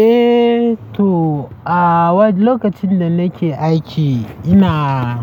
Eh to, a wane lokacin da nake aiki ina,